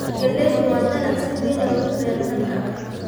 Galaydu waa dalag si weyn loogu beero dalalka Afrika.